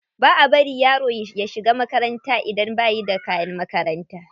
Ba a bari yaro ya shiga makaranta idan bai da kayan makaranta.